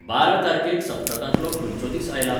बारा तारखेक सप्तकांतलो कोयचो दीस आयला